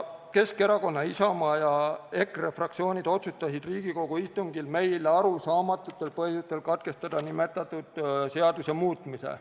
"Keskerakonna, Isamaa ja EKRE fraktsioon otsustasid Riigikogu istungil meile arusaamatutel põhjustel katkestada nimetatud seaduse muutmise.